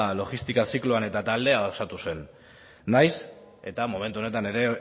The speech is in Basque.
logistika zikloan eta taldea osatu zen nahiz eta momentu honetan